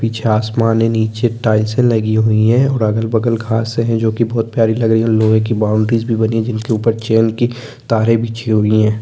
--पीछे आसमान हैं नीचे टाइल्से लगी हुई हैं और अगल बगल घासे हैं जो कि बहुत प्यारी लग रही है और लोहे की बॉउंड्रीज़ भी बनी हैं जिनके उपर की तारे बिछी हुई है।